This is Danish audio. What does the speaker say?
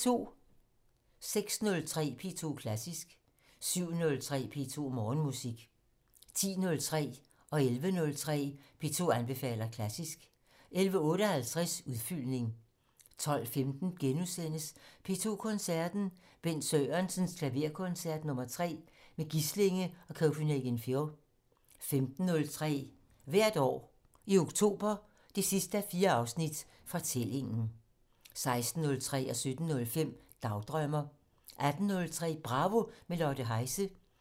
06:03: P2 Klassisk 07:03: P2 Morgenmusik 10:03: P2 anbefaler klassisk 11:03: P2 anbefaler klassisk 11:58: Udfyldning 12:15: P2 Koncerten - Bent Sørensens Klaverkoncert nr. 3 med Gislinge og Copenhagen Phil * 15:03: Hvert år i oktober 4:4 - Fortællingen 16:03: Dagdrømmer 17:05: Dagdrømmer 18:03: Bravo - med Lotte Heise